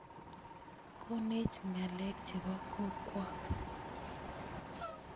Konech ngalek chebo kogwak